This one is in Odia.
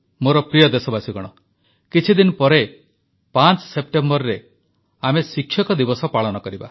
ମୋର ପ୍ରିୟ ଦେଶବାସୀଗଣ କିଛିଦିନ ପରେ ପାଞ୍ଚ ସେପ୍ଟେମ୍ବରରେ ଆମେ ଶିକ୍ଷକ ଦିବସ ପାଳନ କରିବା